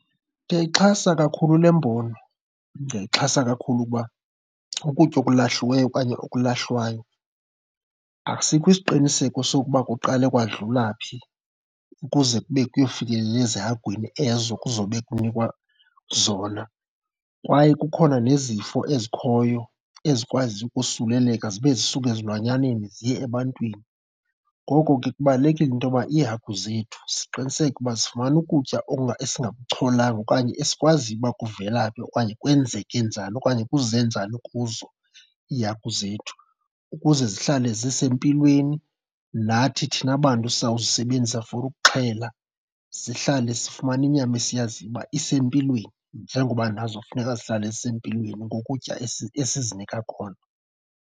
Ndiyayixhasa kakhulu le mbono. Ndiyayixhasa kakhulu kuba ukutya okulahliweyo okanye okulahlwayo asikho isiqiniseko soba kuqale kwadlula phi ukuze kube kuyofikelela ezihagwini ezo kuzowube kunikwa zona. Kwaye kukhona nezifo ezikhoyo ezikwaziyo ukosuleleka zibe zisuka ezilwanyaneni ziye ebantwini. Ngoko ke kubalulekile into yoba iihagu zethu siqiniseke uba zifumana ukutya esingakucholanga okanye esikwaziyo uba kuvela phi okanye kwenzeke njani okanye kuze njani kuzo iihagu zethu. Ukuze zihlale zisempilweni nathi thina bantu sizawuzisebenzisa for ukuxhela sihlale sifumana inyama esiyaziyo uba isempilweni njengoba nazo funeka zihlale zisempilweni ngokutya esizinika kona.